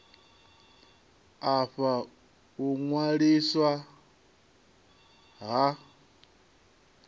a fha u ṅwaliswa ha